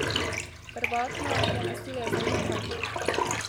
Prvotno je nasilje zanikal.